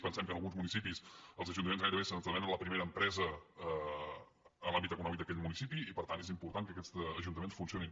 pensem que en alguns mu·nicipis els ajuntaments gairebé esdevenen la primera empresa en l’àmbit econòmic d’aquell municipi i per tant és important que aquests ajuntaments funcionin